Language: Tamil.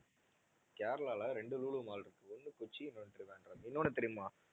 கேரளால ரெண்டு லூலூ mall இருக்கு ஒண்ணு கொச்சி இன்னொண்ணு trivandrum இன்னொண்ணு தெரியுமா